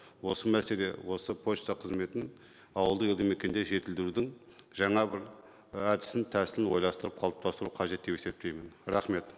осы мәселе осы пошта қызметін ауылды елді мекенде жетілдірудің жаңа бір і әдісін тәсілін ойластырып қалыптастыру қажет деп есептеймін рахмет